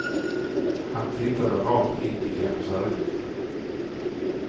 Han tittade rakt in i hennes ögon.